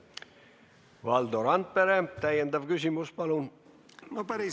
Valdo Randpere, täiendav küsimus, palun!